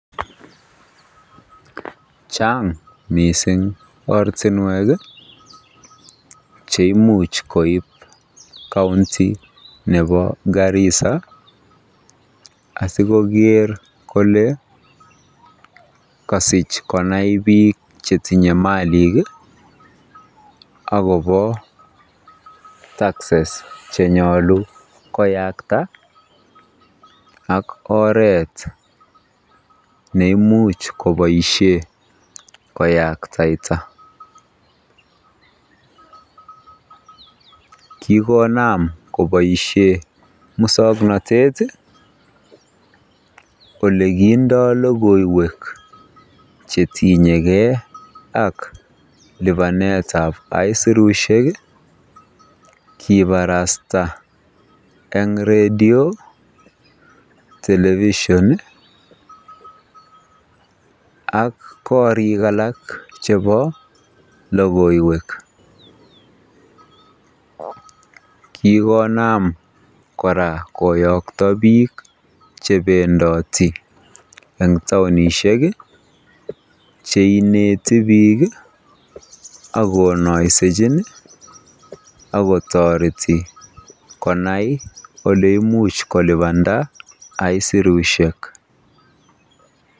Chang mising ortinwek cheimuch koib counti nebo Garissa asikoker kole kosich konai biik chetinye malik akobo taxes chenyolu koyakta ak oreet neimuch koboishen koyaktaita, kikonam koboishen muswoknotet olekindo lokoiwek chetinyeke ak libanetab aisurushek kibarasta eng redio, television ak korik alak chebo lokoiwek, kikonam kora koyokto biik chebendoti en taonishek cheineti biik ak konoisechin akotoreti konai oleimuch kolibanda aisurushek.